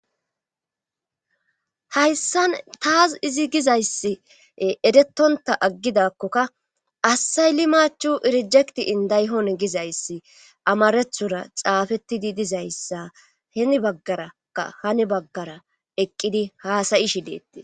Hayssan taas izi gizayssi eretonta aggidakkokka assayli machu irjekti indayhon gizayssi amarethora xaafetidi dizayssa hini baggaraka hani baggara eqqidi haasayi shileetti